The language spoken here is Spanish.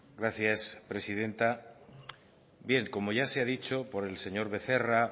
gracias presidenta bien como ya se ha dicho por el señor becerra